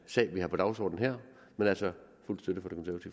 sag vi har på dagsordenen her men altså